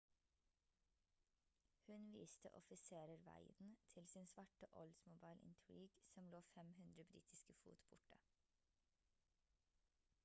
hun viste offiserer veien til sin svarte oldsmobile intrigue som lå 500 britiske fot borte